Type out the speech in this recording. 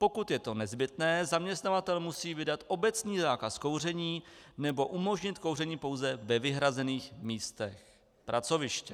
Pokud je to nezbytné, zaměstnavatel musí vydat obecný zákaz kouření nebo umožnit kouření pouze ve vyhrazených místech pracoviště.